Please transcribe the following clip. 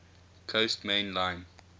coast main line